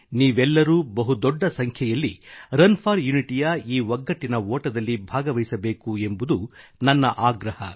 ನೀವೆಲ್ಲರೂ ಬಹು ದೊಡ್ಡ ಸಂಖ್ಯೆಯಲ್ಲಿ ಏಕತೆಯ ಈ ಓಟದಲ್ಲಿ ರನ್ ಫಾರ್ ಯುನಿಟಿಯಲ್ಲಿ ಭಾಗವಹಿಸಬೇಕು ಎಂಬುದು ನನ್ನ ಆಗ್ರಹ